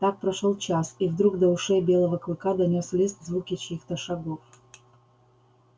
так прошёл час и вдруг до ушей белого клыка донёс лист звуки чьих то шагов